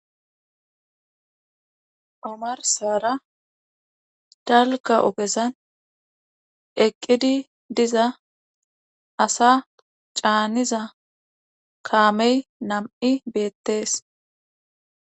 Omarsara dalga ogezan eqidi Diza assa caniza Kamey nam'uiy dess